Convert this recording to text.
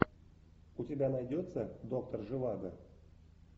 у тебя найдется доктор живаго